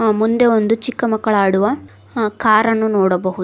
ಮುಂದೆ ಒಂದು ಚಿಕ್ಕ ಮಕ್ಕಳು ಆಡುವ ಕಾರ್ ಅನ್ನು ನೋಡಬಹುದು.